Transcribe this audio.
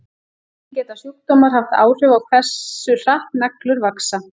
Einnig geta sjúkdómar haft áhrif á hversu hratt neglur vaxa.